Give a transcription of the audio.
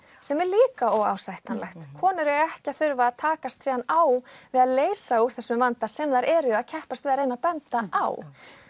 sem er líka óásættanlegt konur eiga ekki að þurfa að takast síðan á við að leysa úr þessum vanda sem þær eru að keppast við að reyna að benda á